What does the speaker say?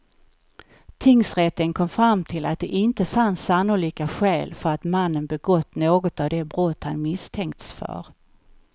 Tingsrätten kom fram till att det inte fanns sannolika skäl för att mannen begått något av de brott han misstänkts för.